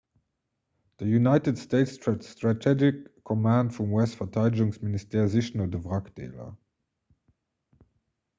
de united states strategic command vum us-verteidegungsministère sicht no de wrackdeeler